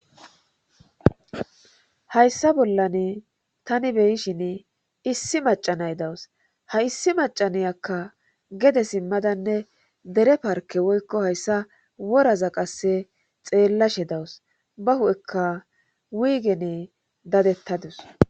Hayssa bollan tani beyishin issi macanay dawus ha issi macaniyakka gede simmadanne dere parke woykko hayssa woraza qasse xeellashe dawus ba hu7ekka wiigene dadettadus